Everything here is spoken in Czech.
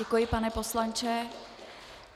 Děkuji, pane poslanče.